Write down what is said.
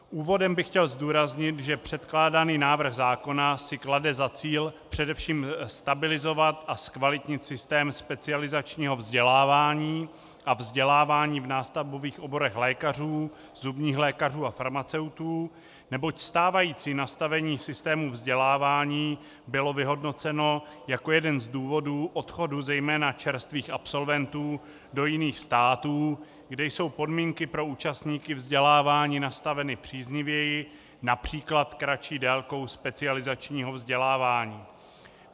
Úvodem bych chtěl zdůraznit, že předkládaný návrh zákona si klade za cíl především stabilizovat a zkvalitnit systém specializačního vzdělávání a vzdělávání v nástavbových oborech lékařů, zubních lékařů a farmaceutů, neboť stávající nastavení systému vzdělávání bylo vyhodnoceno jako jeden z důvodů odchodu zejména čerstvých absolventů do jiných států, kde jsou podmínky pro účastníky vzdělávání nastaveny příznivěji, například kratší délkou specializačního vzdělávání.